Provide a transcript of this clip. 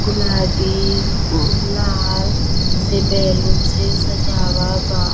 गुलाबी ओ लाल से बैलून से सजावा बा।